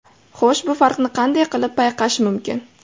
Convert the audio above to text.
Xo‘sh, bu farqni qanday qilib payqash mumkin?